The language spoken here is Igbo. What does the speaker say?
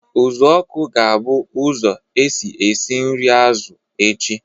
Uzuoku ga-abụ ụzọ esi esi nri azụ echi